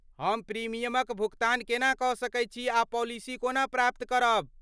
हम प्रीमियमक भुगतान केना कऽ सकैत छी आ पालिसी कोना प्राप्त करब?